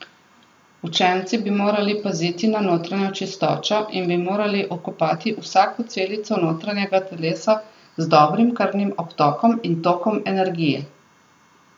Učenci bi morali paziti na notranjo čistočo in bi morali okopati vsako celico notranjega telesa z dobrim krvnim obtokom in tokom energije.